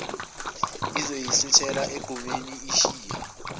isiyosithela egqumeni ishiya